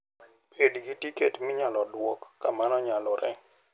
Bed gi tiketi minyalo duok ka mano nyalore.